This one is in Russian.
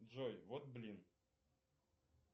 джой вот блин